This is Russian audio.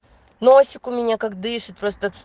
носик у меня как дышит просто